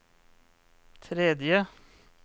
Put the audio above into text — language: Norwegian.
tredje